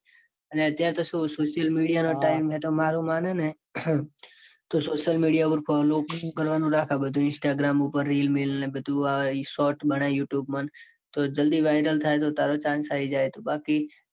અને અત્યારે તો શું social media નો time હે તો મારું માને નેતો social media માં follow કરવા નું રાખ આ બધું instagram પર reel મેલ અને આ બધું short બનાય you tube તો જલ્દી તો viral થાય તો તારો chance બાકી